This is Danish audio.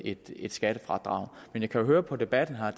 et skattefradrag men jeg kan jo høre på debatten her